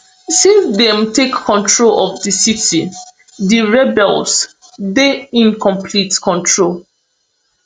since dem take control of di city di rebels dey in complete control